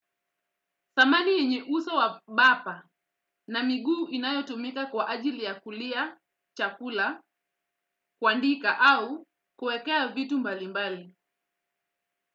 Thamani yenye uso wa bapa na miguu inayotumika kwa ajili ya kulia, chakula, kuandika au kuekea vitu mbali mbali.